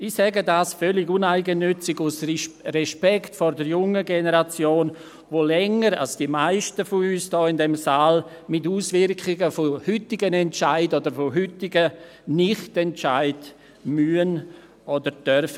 Dies sage ich völlig uneigennützig aus Respekt vor der jungen Generation, die länger als die Meisten von uns in diesem Saal mit Auswirkungen von heutigen Entscheiden oder heutigen NichtEntscheiden leben muss oder darf.